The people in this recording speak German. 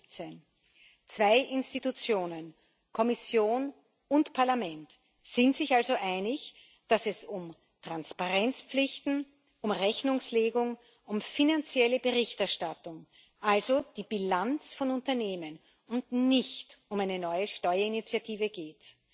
2017. Zwei Organe, Kommission und Parlament, sind sich also einig, dass es um Transparenzpflichten, um Rechnungslegung, um finanzielle Berichterstattung also die Bilanz von Unternehmen und nicht um eine neue Steuerinitiative geht.